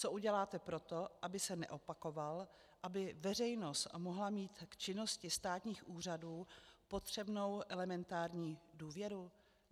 Co uděláte proto, aby se neopakoval, aby veřejnost mohla mít k činnosti státních úřadů potřebnou elementární důvěru?